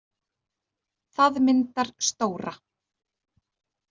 Það myndar stóra.